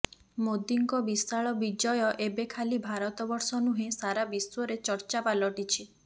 ମୋଦୀଙ୍କ ବିଶାଳ ବିଜୟ ଏବେ ଖାଲି ଭାରତବର୍ଷ ନୁହେଁ ସାରା ବିଶ୍ୱରେ ଚର୍ଚ୍ଚା ପାଲଟିଛି